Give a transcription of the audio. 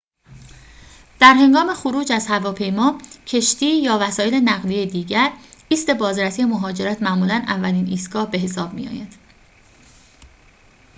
در هنگام خروج از هواپیما کشتی یا وسایل نقلیه دیگر ایست بازرسی مهاجرت معمولاً اولین ایستگاه به حساب می‌آید